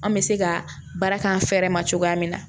An bɛ se ka baara k'an fɛ yɛrɛ ma cogoya min na